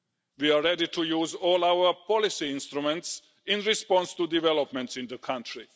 We are ready to use all our policy instruments in response to developments in the country.